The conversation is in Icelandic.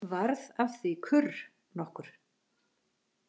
Varð af því kurr nokkur.